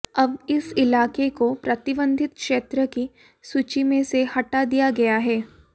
अब इस इलाके को प्रतिबंधित क्षेत्र की सूची में से हटा दिया गया है